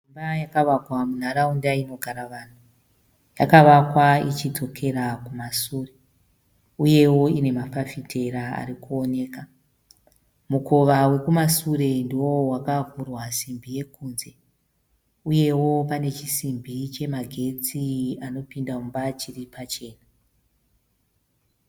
Imba yakavakwa munharaunda inogara vanhu. Yakavakwa ichidzokera kumasure uyewo ine mafafitera arikuoneka. Mukova wekumasure ndiwo wakavhurwa simbi yekunze. Uyewo pane chisimbi chemagetsi anopinda mumba chiri pachena.